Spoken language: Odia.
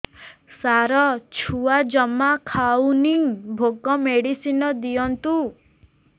ସାର ଛୁଆ ଜମା ଖାଉନି ଭୋକ ମେଡିସିନ ଦିଅନ୍ତୁ